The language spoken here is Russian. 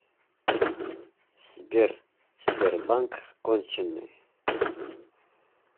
сбер сбербанк конченый